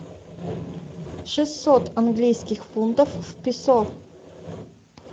шестьсот английских фунтов в песо